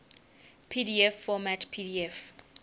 pdf format pdf